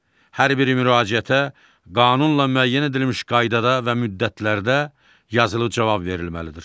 Hər bir müraciətə qanunla müəyyən edilmiş qaydada və müddətlərdə yazılı cavab verilməlidir.